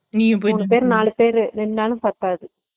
நாலுபேரு நின்னாலும் பத்தாது